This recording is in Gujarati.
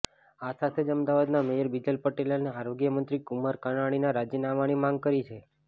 આ સાથે જ અમદાવાદના મેયર બીજલ પટેલ અને આરોગ્યમંત્રી કુમાર કાનાણીના રાજીનામાની માંગ કરી છે